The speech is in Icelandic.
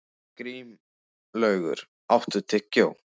Grímlaugur, áttu tyggjó?